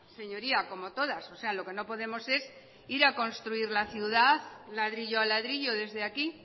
señoría como todas o sea lo que no podemos es ir a construir la ciudad ladrillo a ladrillo desde aquí